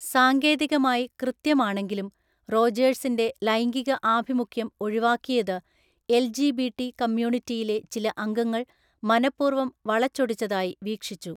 സാങ്കേതികമായി കൃത്യമാണെങ്കിലും, റോജേഴ്സിന്റെ ലൈംഗിക ആഭിമുഖ്യം ഒഴിവാക്കിയത് എൽജിബിടി കമ്മ്യൂണിറ്റിയിലെ ചില അംഗങ്ങൾ മനഃപൂർവം വളച്ചൊടിച്ചതായി വീക്ഷിച്ചു.